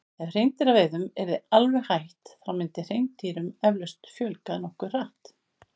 ef hreindýraveiðum yrði alveg hætt þá myndi hreindýrum eflaust fjölga nokkuð hratt